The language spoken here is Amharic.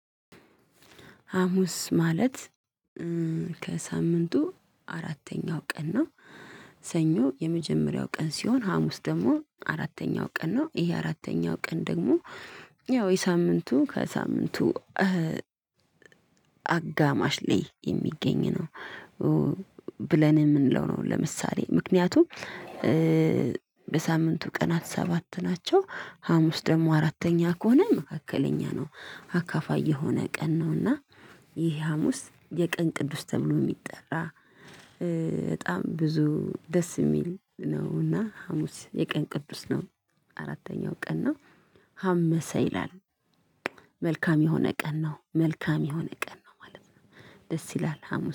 ሀሙስ ማለት ከሳምንቱ አራተኛው ቀን ነው። ሰኞ የመጀመሪያው ቀን ሲሆን ሀሙስ ደግሞ አራተኛው ቀን ነው። ይሄ አራተኛው ቀን ደግሞ ያው የሳምንቱ ከሳምንቱ አጋማሽ ላይ የሚገኝ ነው ብለን የምንለው ነው። ለምሳሌ ምክንያቱም የሳምንቱ ቀናት ሰባት ናቸው። ሀሙስ ደግሞ አራተኛ ከሆነ መካከለኛ ነው። አካፋይ የሆነ ቀን ነውና ይህ ሀሙስ የቀን ቅዱስ ተብሎ የሚጠራ በጣም ብዙ ደስ የሚል ነው እና ሀሙስ የቀን ቅዱስ ነው። አራተኛው ቀን ነው። ሐመሰ ይላል። መልካም የሆነ ቀን ነው። መልካም የሆነ ቀን ነው ማለት ነው። ደስ ይላል ሀሙስ